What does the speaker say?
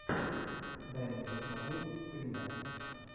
дай мне посмотреть скример